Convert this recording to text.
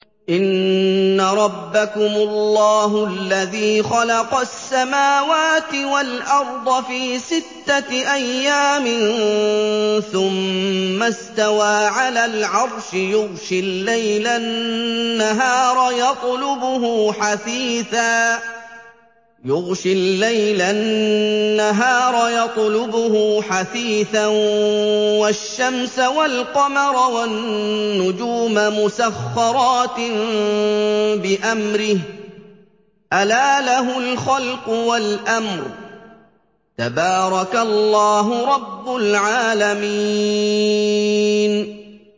إِنَّ رَبَّكُمُ اللَّهُ الَّذِي خَلَقَ السَّمَاوَاتِ وَالْأَرْضَ فِي سِتَّةِ أَيَّامٍ ثُمَّ اسْتَوَىٰ عَلَى الْعَرْشِ يُغْشِي اللَّيْلَ النَّهَارَ يَطْلُبُهُ حَثِيثًا وَالشَّمْسَ وَالْقَمَرَ وَالنُّجُومَ مُسَخَّرَاتٍ بِأَمْرِهِ ۗ أَلَا لَهُ الْخَلْقُ وَالْأَمْرُ ۗ تَبَارَكَ اللَّهُ رَبُّ الْعَالَمِينَ